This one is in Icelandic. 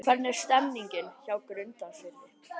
Hvernig er stemningin hjá Grundarfirði?